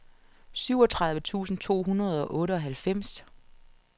syvogtredive tusind to hundrede og otteoghalvfems